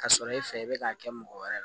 Ka sɔrɔ e fɛ i bɛ k'a kɛ mɔgɔ wɛrɛ la